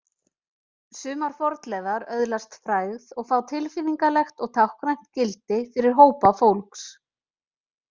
Sumar fornleifar öðlast frægð og fá tilfinningalegt og táknrænt gildi fyrir hópa fólks.